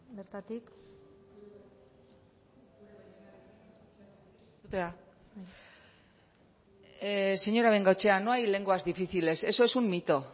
bertatik señora bengoechea no hay lenguas difíciles eso es un mito